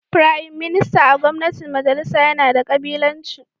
Firayim Minista a gwamnatin majalisa yana da kabilanci